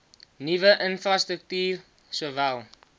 nuwe infrastruktuur sowel